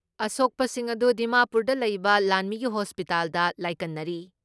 ꯑꯁꯣꯛꯄꯁꯤꯡ ꯑꯗꯨ ꯗꯤꯃꯥꯄꯨꯔꯗ ꯂꯩꯕ ꯂꯥꯟꯃꯤꯒꯤ ꯍꯣꯁꯄꯤꯇꯥꯜꯗ ꯂꯥꯏꯀꯠꯅꯔꯤ ꯫